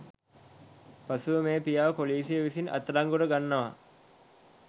පසුව මේ පියාව පොලිසිය විසින් අත් අඩංගුවට ගන්නවා